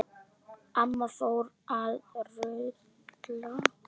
Amma fór að raula.